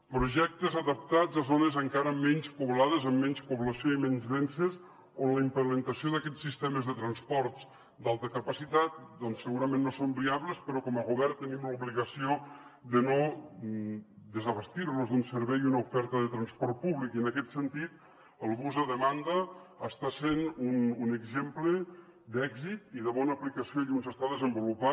projectes adaptats a zones encara menys poblades amb menys població i menys denses on la implementació d’aquests sistemes de transports d’alta capacitat doncs segurament no són viables però com a govern tenim l’obligació de no desabastir los d’un servei i una oferta de transport públic i en aquest sentit el bus a demanda està sent un exemple d’èxit i de bona aplicació allí on s’està desenvolupant